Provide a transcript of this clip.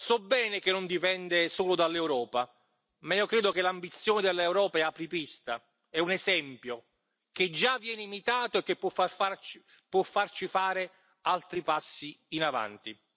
So bene che non dipende solo dall'Europa ma io credo che l'ambizione dell'Europa è apripista, è un esempio, che già viene imitato e che può farci fare altri passi avanti.